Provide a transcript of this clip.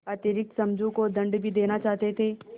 अतिरिक्त समझू को दंड भी देना चाहते थे